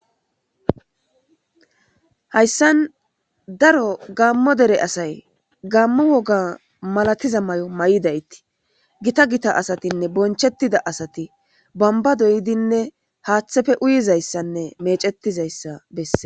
hayssan daro gammo dere asay gammu woga malatiza may7o may7idaytii gita gita asatinne bonchettida asati bomba doydinne haaththefe uyizayssanne mecetizayssa besse